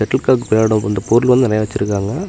Settle காக் வெளையாடும் அந்த பொருள் வந்து நெறையா வெச்சுருக்காங்க.